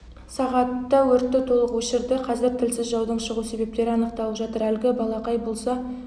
сағатта өртті толық өшірді қазір тілсіз жаудың шығу себептері анықталып жатыр әлгі балақай болса оң